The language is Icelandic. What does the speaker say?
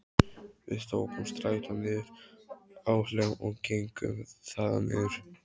Við tókum strætó niður á Hlemm og gengum þaðan niður